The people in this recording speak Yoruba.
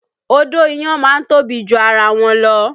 Odó iyán má ń tóbi ju ara wọn lọ